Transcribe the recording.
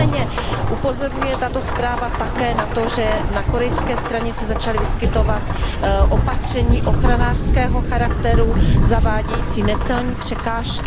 Nicméně upozorňuje tato zpráva také na to, že na korejské straně se začaly vyskytovat opatření ochranářského charakteru zavádějící necelní překážky.